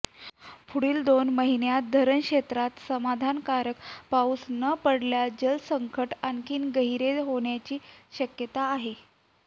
पुढील दोन महिन्यांत धरणक्षेत्रात समाधानकारक पाऊस न पडल्यास जलसंकट आणखीन गहिरे होण्याची शक्यता आहे